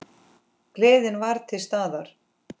Gleðin var til staðar.